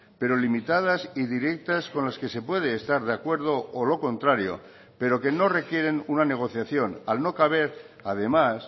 pero limitadas y directas con las que se puede estar de acuerdo o lo contrario pero que no requieren una negociación al no caber además